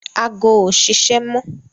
Ago ò ṣiṣẹ́ mọ